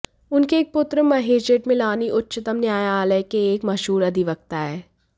उनके एक पुत्र महेश जेठमलानी उच्चतम न्यायालय के एक मशहूर अधिवक्ता है